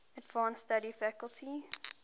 advanced study faculty